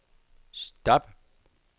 stop